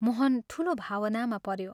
मोहन ठूलो भावनामा पऱ्यो ।